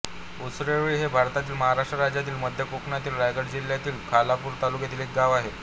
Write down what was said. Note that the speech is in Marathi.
उसरोळी हे भारतातील महाराष्ट्र राज्यातील मध्य कोकणातील रायगड जिल्ह्यातील खालापूर तालुक्यातील एक गाव आहे